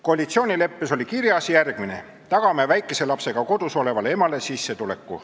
Koalitsioonileppes oli kirjas järgmine: "Tagame väikese lapsega kodus olevale emale sissetuleku.